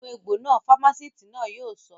Nu egbò náà! Fámásìtì náà yóò sọ